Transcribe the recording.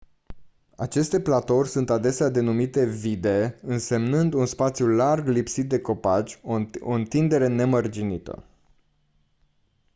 aceste platouri sunt adesea denumite vidde însemnând un spațiu larg lipsit de copaci o întindere nemărginită